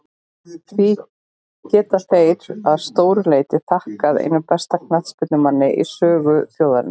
Því geta þeir að stóru leyti þakkað einum besta knattspyrnumanni í sögu þjóðarinnar.